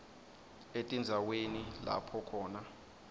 etindzaweni lapho khona